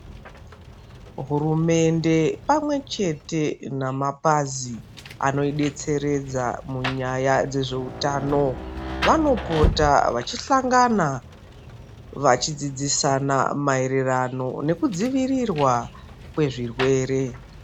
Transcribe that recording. Hurumende pamwechete nemapazi anodetseredza munyaya dzezveutano vanopota vachisangana vachidzidzisana mayererano nekudzivirirwa kwezvirwere.